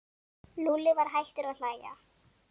Lúlli var hættur að hlæja.